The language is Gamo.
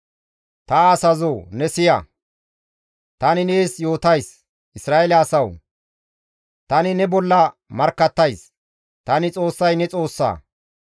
«Ta asazoo ne siya! Tani nees yootays; Isra7eele asawu! Tani ne bolla markkattays. Tani Xoossay ne Xoossa.